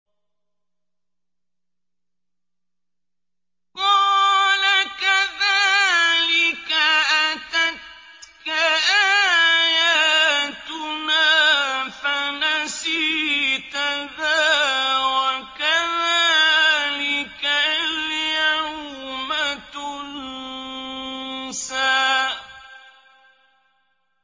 قَالَ كَذَٰلِكَ أَتَتْكَ آيَاتُنَا فَنَسِيتَهَا ۖ وَكَذَٰلِكَ الْيَوْمَ تُنسَىٰ